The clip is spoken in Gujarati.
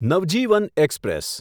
નવજીવન એક્સપ્રેસ